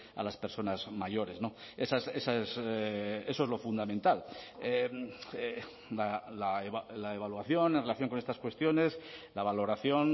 a las personas mayores eso es lo fundamental la evaluación en relación con estas cuestiones la valoración